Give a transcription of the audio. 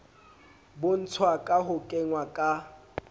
bontshwa ka ho kengwa ka